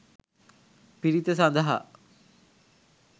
පිරිත සඳහා